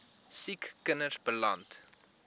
siek kinders beland